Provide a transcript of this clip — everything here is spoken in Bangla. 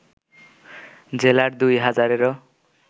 জেলার দুই হাজারেরও